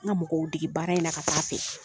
An ka mɔgɔw dege baara in na ka taa fɛ.